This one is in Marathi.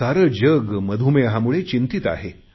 सारे जग मधुमेहामुळे चिंतीत आहे